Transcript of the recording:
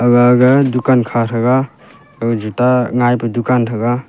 aga ga dukan kha thaga aga juta ngai pe dukan thaga.